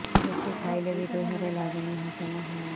ଯେତେ ଖାଇଲେ ବି ଦେହରେ ଲାଗୁନି ହଜମ ହଉନି